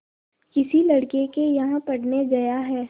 किसी लड़के के यहाँ पढ़ने गया है